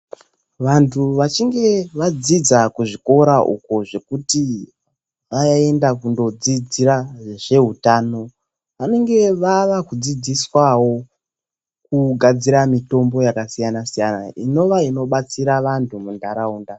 Vantu vachinge vadzidza kuzvikora uko zvekuti vaenda kundodzidzira zvehutano, vanenge vava kudzidziswawo kugadzira mitombo yakasiyana siyana inova inobatsira vantu muntaraunda.